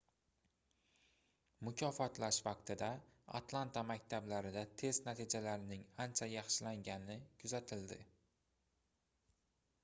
mukofotlash vaqtida atlanta maktablarida test natijalarining ancha yaxshilangani kuzatildi